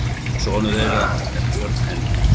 Sonur þeirra er Björn Henry.